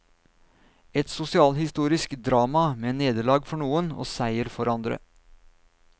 Et sosialhistorisk drama med nederlag for noen og seier for andre.